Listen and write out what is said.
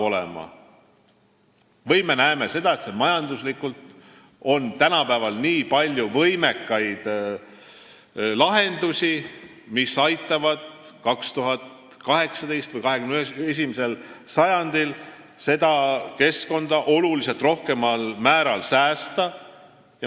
Tänapäeval, 21. sajandil, on nii palju lahendusi, mis aitavad keskkonda oluliselt rohkemal määral säästa.